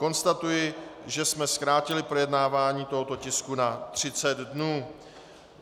Konstatuji, že jsme zkrátili projednávání tohoto tisku na 30 dnů.